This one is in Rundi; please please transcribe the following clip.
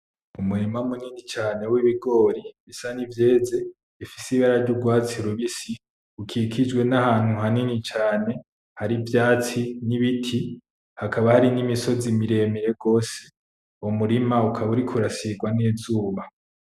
Umurima munini cane w'ibigori bisa nivyeze, bifise ibara ry'urwatsi rubisi rukikijwe n'ahantu hanini cane hari ivyatsi n'ibiti hakaba hari n'imisozi miremire gose, uwo murima ukaba uriko urasigwa n'izuba.